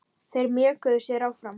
Þeir mjökuðu sér áfram.